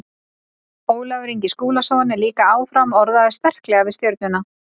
Ólafur Ingi Skúlason er líka áfram orðaður sterklega við Stjörnuna.